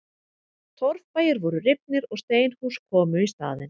Torfbæir voru rifnir og steinhús komu í staðinn.